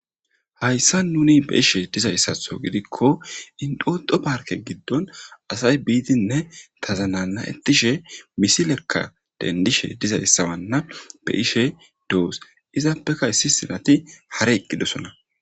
Hayssa nuni be ishe dizayssatho gidikko indoxo parke giddon asay biidinne tazanana ettishe misilekka dendishe dizayssawanna be ishe doos izaappeka issi sinati hara eqqidosona.